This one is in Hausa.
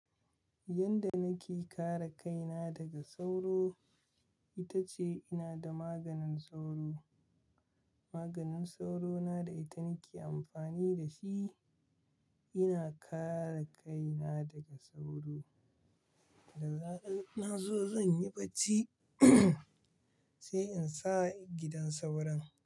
Yanda nake kare kaina daga sauro, ita ce ina da maganin sauro. Maganin sauro na da ita nake amfani da shi. Ina kare kaina daga sauro. Da zaran nazo, zan yi bacci sai in sa gidan sauron.